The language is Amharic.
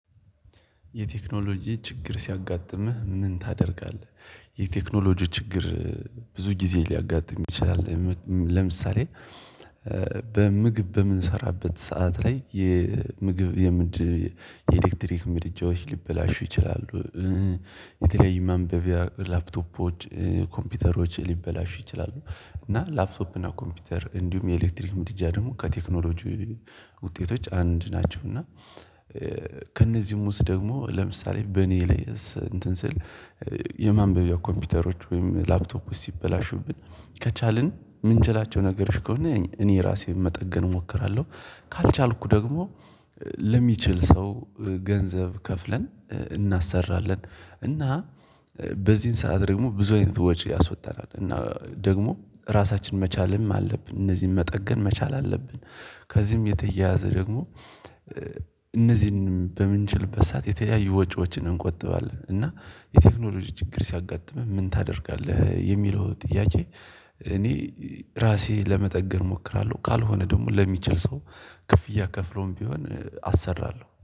የቴክኖሎጂ ችግር ሲያጋጥምህ ምን ታደርጋለህ? የቴክኖሎጂ ችግር ብዙ ጊዜ ሊያጋጥም ይችላል። ለምሳሌ። በምግብ በምንሰራበት ሰዓት ላይ የምግብ የምድር የኤሌክትሪክ ምድጃዎች ሊበላሹ ይችላሉ። የተለያዩ ማንበቢያ ላፕቶፖች ኮምፒውተሮች ሊበላሹ ይችላሉ እና ላፕቶፕ እና ኮምፒውተር እንዲሁም የኤሌክትሪክ ምድጃ ደግሞ ከቴክኖሎጂ ውጤቶች አንድ ናቸው። እና ከእነዚህ ውስጥ ደግሞ ለምሳሌ በእኔ ላይ እንትን ስል። የማንበቢያ ኮምፒውተሮች ወይም ላፕቶክ ውስጥ ሲበላሹብን ከቻልን የምንችላቸው ነገሮች ከሆነ እኔ ራሴን መጠገን እሞክራለሁ። ካልቻልኩ ደግሞ ለሚችል ሰው ገንዘብ ከፍለን እናሰራለን። እና በዚህን ሰዓት ደግሞ ብዙ አይነት ወጪ ያስወጣል። እና ደግሞ ራሳችንን መቻልም አለብን እነዚህን መጠገን መቻል አለብን። ከዚህም የተያያዘ ደግሞ እነዚህን በምንችልበት ሰዓት የተለያዩ ወጪዎችን እንቆጥባለን። እና የቴክኖሎጂ ችግር ሲያጋጥምህ ምን ታደርጋለህ የሚለው ጥያቄ። እኔ ራሴ ለመጠገን እሞክራለሁ ካልሆነ ደግሞ ለሚችል ሰው ክፍያ ከፍሎም ቢሆን አሰራለሁ